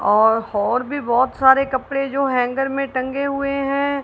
और होर भी बहोत सारे कपड़े जो हैंगर मे टंगे हुए है।